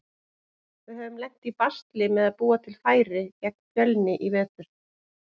Við höfum lent í basli með að búa til færi gegn Fjölni í vetur.